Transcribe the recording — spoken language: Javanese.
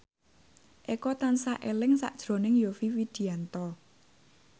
Eko tansah eling sakjroning Yovie Widianto